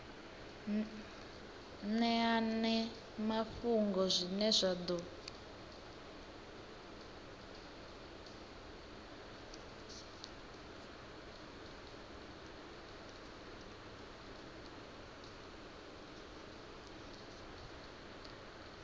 ṅeane mafhungo zwine zwa ḓo